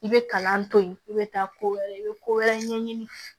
I bɛ kalan to yen i bɛ taa ko wɛrɛ i bɛ ko wɛrɛ ɲɛɲini